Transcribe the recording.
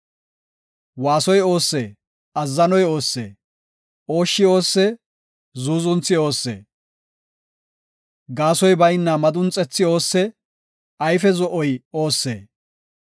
Waasoy oossee? Azzanoy oossee? Ooshshi oossee? Zuuzunthi oossee? Gaasoy bayna madunxethi oossee? Ayfe zo7oy oossee?